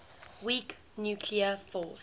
weak nuclear force